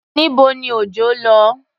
Níbo ni Òjọ́ lọ?